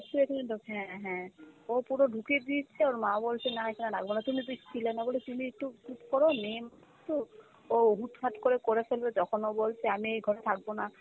সেইটাই তো হ্যাঁ হ্যাঁ, ও পুরো ঢুকিয়ে দিচ্ছে ওর মা বলছে না এখানে রাখবো না, তুমি তুমি একটু চুপ করো মেয়ে তো ও হুট-হাট করে করে ফেলবে, তখন ও বলছে আমি এ ঘরে থাকবো না,